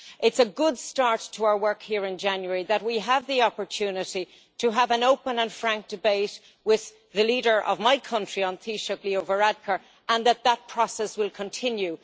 It is a good start to our work here in January that we have the opportunity to have an open and frank debate with the leader of my country, An Taoiseach, Leo Varadkar, and that that process will continue.